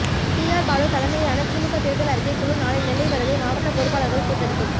TR Baalu தலைமையிலான திமுக தேர்தல் அறிக்கை குழு நாளை நெல்லை வருகை மாவட்ட பொறுப்பாளர்கள் கூட்டறிக்கை